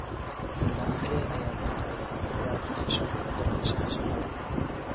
Nidaamkee ayaad raacaysaa si aad u hesho ogolaanshaha shaqada?